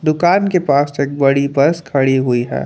दुकान के पास चेक बड़ी बस खड़ी हुई है।